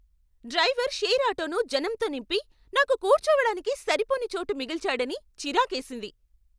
Driver share ఆటోను జనంతో నింపి, నాకు కూర్చోవడానికి సరిపోని చోటు మిగిల్చాడని చిరాకేసింది.